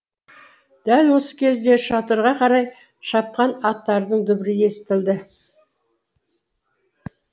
дәл осы кезде шатырға қарай шапқан аттардың дүбірі естілді